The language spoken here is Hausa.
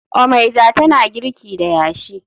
Omeiza tana girki da yashi